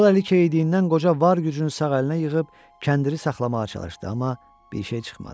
Sol əli keyidiyindən qoca var gücünü sağ əlinə yığıb kəndiri saxlamağa çalışdı, amma bir şey çıxmadı.